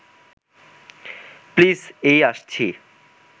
please এই আসছি